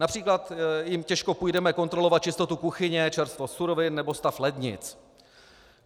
Například jim těžko půjdeme kontrolovat čistotu kuchyně, čerstvost surovin nebo stav lednic.